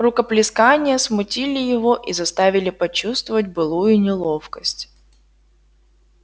рукоплескания смутили его и заставили почувствовать былую неловкость